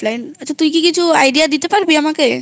আচ্ছা তুই কি কিছু idea দিতে পারবি আমাকে?